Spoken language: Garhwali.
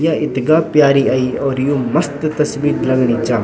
या इथगा प्यारी अई और यु मस्त तस्वीर लगणी चा।